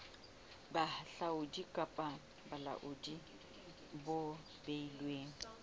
bohahlaudi kapa bolaodi bo beilweng